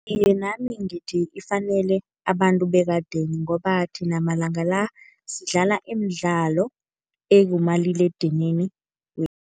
Iye nami ngithi ifanele abantu bekadeni ngoba thina amalanga la, sidlala imidlalo ekumaliledinini